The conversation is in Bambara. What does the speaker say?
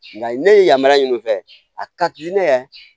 Nka ne ye yamaruya ɲini u fɛ a ka di ne ye